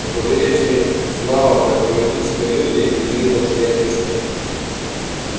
на побережье знала как поведут себя люди иных обстоятельствах